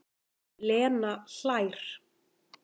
Lena hlær.